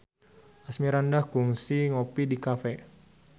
Asmirandah kungsi ngopi di cafe